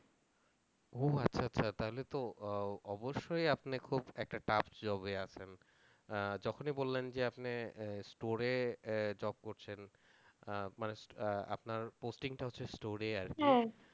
ও আচ্ছা আচ্ছা তাহলে তো আহ অবশ্যই আপনি খুব একটা tough job এ আছেন আহ যখনি বললেন যে আপনি আহ store এ আহ job করছেন আহ মানে আহ আপনার posting টা হচ্ছে store এ আর কি